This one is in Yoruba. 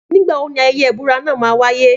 Nígbàwo ní ayẹyẹ ìbúra náà ma wáyé